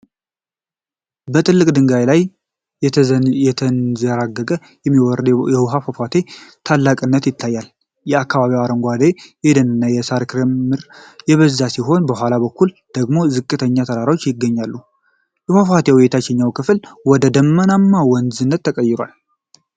በትላልቅ ድንጋዮች ላይ እየተንዠረገረ የሚወርደው የውሃ ፏፏቴ ታላቅነት ይታያል። በአካባቢው አረንጓዴ የደንና የሳር ክምር የበዛ ሲሆን ከኋላ በኩል ደግሞ ዝቅተኛ ተራሮች ይገኛሉ። የፏፏቴው የታችኛው ክፍል ወደ ደመናማ ወንዝነት ይቀየራል።